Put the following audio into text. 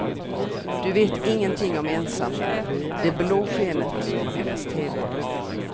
Du vet ingenting om ensamhet, det blå skenet från hennes teve.